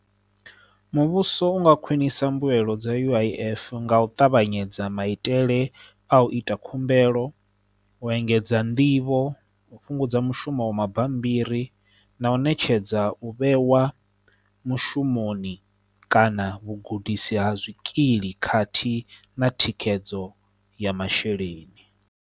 Muvhuso u nga khwinisa mbuelo dza U_I_F nga u ṱavhanyedza maitele a u ita khumbelo u engedza nḓivho u fhungudza mushumo wa mabammbiri na u ṋetshedza u vheiwa mushumoni kana vhugudisi ha zwikili khathihi na thikhedzo ya masheleni.